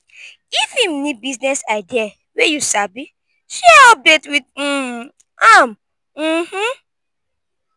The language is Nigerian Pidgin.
if em nid business idea wey yu sabi share update wit um am um